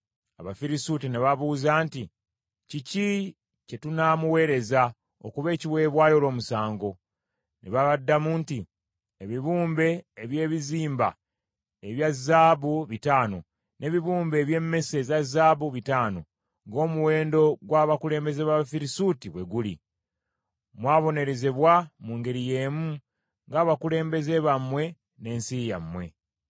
Abafirisuuti ne babuuza nti, “Kiki kye tunamuweereza okuba ekiweebwayo olw’omusango?” Ne babaddamu nti, “Ebibumbe eby’ebizimba ebya zaabu bitaano n’ebibumbe eby’emmese eza zaabu bitaano , ng’omuwendo gwa bakulembeze b’Abafirisuuti bwe guli. “Mwabonerezebwa mu ngeri y’emu ng’abakulembeze bammwe n’ensi yammwe.